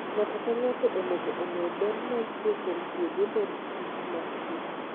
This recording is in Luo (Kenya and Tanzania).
Ng'ato ka ng'ato onego ong'e ber ma nitie kuom tiyo gi olemb kich masie.